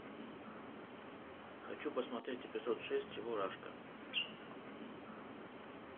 хочу посмотреть эпизод шесть чебурашка